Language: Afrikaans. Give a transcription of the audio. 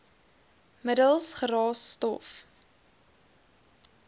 middels geraas stof